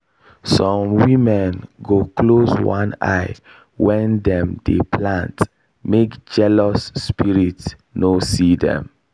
some women go close one eye when dem dey plant make jealous spirit no see dem.